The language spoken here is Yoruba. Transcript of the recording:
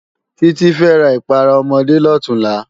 Titi fè rá ipàrá òmòdé lòtúnlá